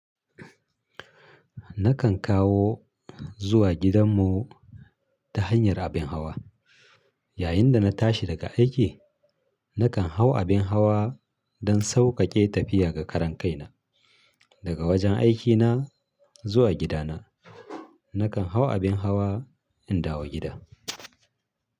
Nakan kawo zuwa gidanmu ta hanyar abin hawa. Yayinda na tashi daga aiki nakan hau abin hawa don sauƙaƙe tafiya ga karan kaina. Daga wajen aikina zuwa gidana nakan hau abin hawa in dawo gida.